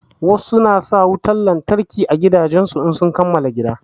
Wasu na sa wutan lantarki a gidajen su in sun kamala gini.